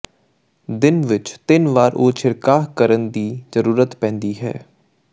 ਦਿਨ ਵਿਚ ਤਿੰਨ ਵਾਰ ਉਹ ਛਿੜਕਾਅ ਕਰਨ ਦੀ ਜ਼ਰੂਰਤ ਪੈਂਦੀ ਹੈ